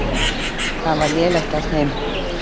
Það var lélegt af þeim.